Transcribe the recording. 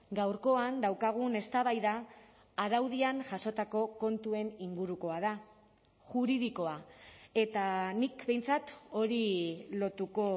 gaurkoan daukagun eztabaida araudian jasotako kontuen ingurukoa da juridikoa eta nik behintzat hori lotuko